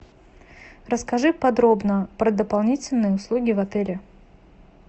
расскажи подробно про дополнительные услуги в отеле